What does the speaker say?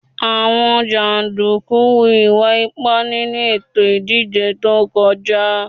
Àwọn jàndùkú hu ìwà ipá nínú ètò ìdìbò tó kọjá